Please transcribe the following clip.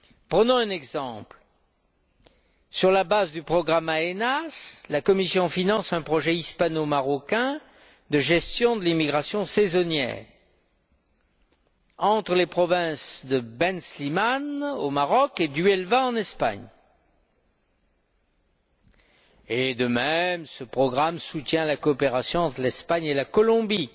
Prenons un exemple sur la base du programme AENEAS, la Commission finance un projet hispano marocain de gestion de l'immigration saisonnière, entre les provinces de Ben Slimane au Maroc et d'Huelva en Espagne. De même ce programme soutient la coopération entre l'Espagne et la Colombie